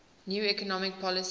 new economic policy